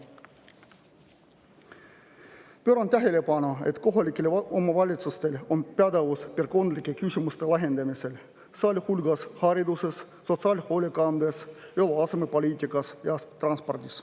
tähelepanu, et kohalikel omavalitsustel on pädevus kondlike küsimuste lahendamisel, sealhulgas hariduses, sotsiaalhoolekandes, eluasemepoliitikas ja transpordis.